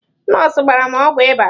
Nọọsụ gbara m ọgwụ ịba.